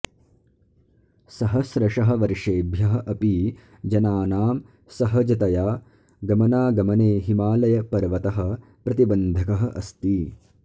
सहस्रशः वर्षेभ्यः अपि जनानाम् सहजतया गमनागमने हिमालयपर्वतः प्रतिबन्धकः अस्ति